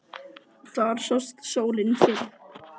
Þar sást sólin fyrr.